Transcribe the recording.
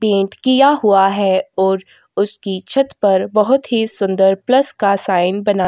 pant किया हुआ है और उसकी छत पर बहुत ही सुंदर प्लस का साइन बना--